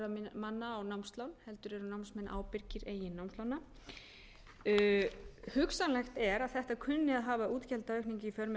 ábyrgðarmanna á námslán heldur eru námsmenn ábyrgir eigin námslána hugsanlegt er að þetta kunni að hafa útgjaldaaukningu í för með